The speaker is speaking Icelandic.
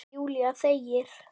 Júlía þegir.